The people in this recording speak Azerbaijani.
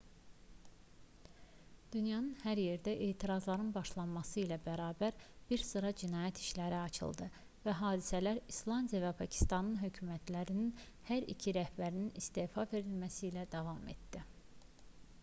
dünyanın hər yerində etirazların başlaması ilə bərabər bir sıra cinayət işləri açıldı və hadisələr i̇slandiya və pakistan hökumətlərinin hər iki rəhbərinin istefa verməsi ilə davam etdi